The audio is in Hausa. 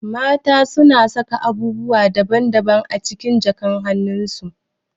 Mata na saka abubuwa daban daban a cikin jakan hanun su